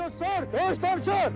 Vur döyüş, döyüş danışır!